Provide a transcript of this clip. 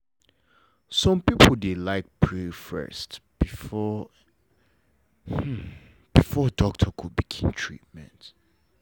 some people dey like pray first before doctor go begin treatment